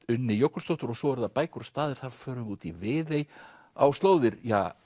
Unni Jökulsdóttur svo eru það bækur og staðir og þar förum við út í Viðey á slóðir